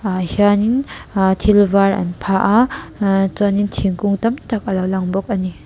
ah hianin ah thil var an phah a aaa chuan in thingkung tam tak a lo lang bawk a ni.